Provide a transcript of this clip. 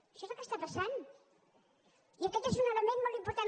això és el que està passant i aquest és un element molt important